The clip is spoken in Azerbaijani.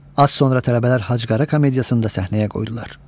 Az sonra tələbələr Hacıqara komediyasında səhnəyə qoydular.